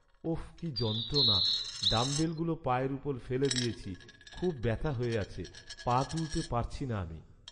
ওফ! কি যন্ত্রণা। ডাম্বেলগুলো পায়ের ওপর ফেলে দিয়েছি, খুব ব্যাথা হয়ে আছে। পা তুলতে পারছি না আমি।